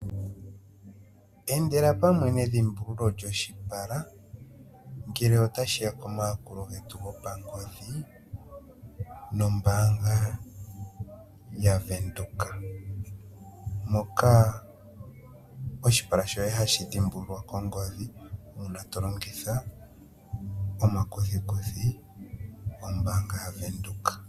Endela pamwe nedhimbululo lyoshipala ngele otashiya komayakulo getu gopangodhi nombaanga ya Venduka ,moka oshipala shoye hashi dhimbululwa kongodhi uuna to longitha omakuthikuthi gombaanga ga Venduka.